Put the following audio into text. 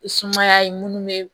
Sumaya ye minnu be